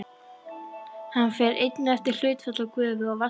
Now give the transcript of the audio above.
Hann fer einnig eftir hlutfalli gufu og vatns í streyminu.